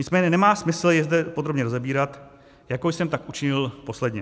Nicméně nemá smysl je zde podrobně rozebírat, jako jsem tak učinil posledně.